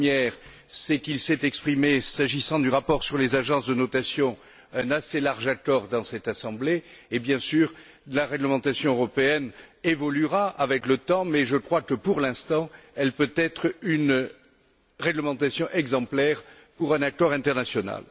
La première, c'est qu'il s'est exprimé, s'agissant du rapport sur les agences de notation, un assez large accord dans cette assemblée et, bien sûr, la réglementation européenne évoluera avec le temps, mais je crois que, pour l'instant, elle peut être une réglementation exemplaire pour un accord international.